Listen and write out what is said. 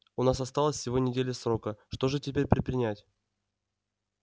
у нас осталась всего неделя срока что же теперь предпринять